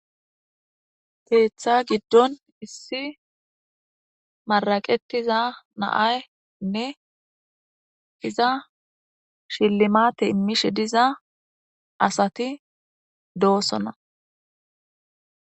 Keththa giddon issi maraqetiza naaynne iza shillimate immishe diza asati doosona